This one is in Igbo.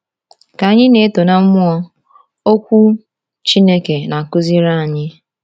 Ka anyị na-eto na mmụọ, Okwu Chineke na-akụziri anyị.